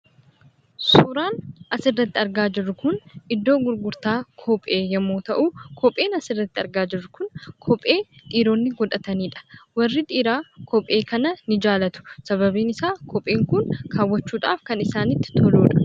Suuraan asirratti argaa jirru kun iddoo gurgurtaa kophee yoo ta’u, kopheen asirratti argaa jirru kun kophee dhiironni hidhataniidha. Warri dhiiraa kophee kana ni jaallatu, sababiin isaa kopheen kun kaawwachuudhaaf kan isaanitti toludha.